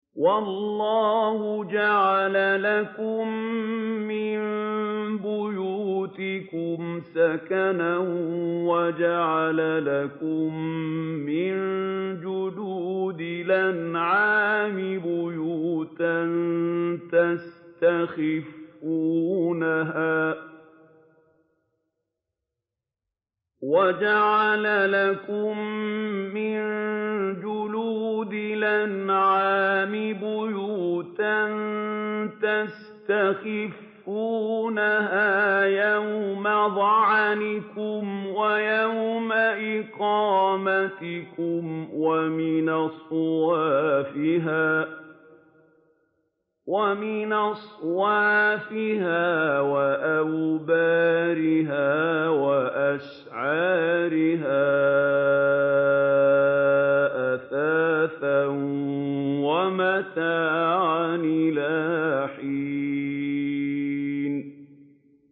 وَاللَّهُ جَعَلَ لَكُم مِّن بُيُوتِكُمْ سَكَنًا وَجَعَلَ لَكُم مِّن جُلُودِ الْأَنْعَامِ بُيُوتًا تَسْتَخِفُّونَهَا يَوْمَ ظَعْنِكُمْ وَيَوْمَ إِقَامَتِكُمْ ۙ وَمِنْ أَصْوَافِهَا وَأَوْبَارِهَا وَأَشْعَارِهَا أَثَاثًا وَمَتَاعًا إِلَىٰ حِينٍ